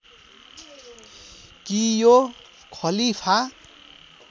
कि यो खलीफा